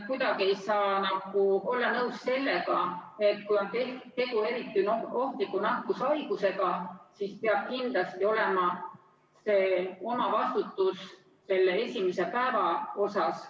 Kuidagi ei saa olla nõus sellega, et kui on tegu eriti ohtliku nakkushaigusega, siis peab kindlasti olema omavastutus esimese päeva puhul.